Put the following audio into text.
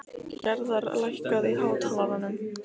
Gerðar, lækkaðu í hátalaranum.